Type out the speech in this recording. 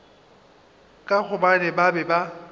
ka gobane ba be ba